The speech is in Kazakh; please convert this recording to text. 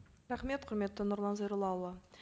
рахмет құрметті нұрлан зайроллаұлы